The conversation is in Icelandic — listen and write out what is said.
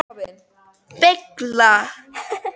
Reidar, ekki fórstu með þeim?